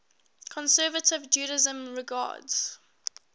conservative judaism regards